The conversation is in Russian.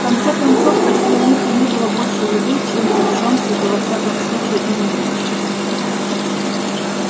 в конце концов если у них и не было больше еды чем при джонсе то во всяком случае и не меньше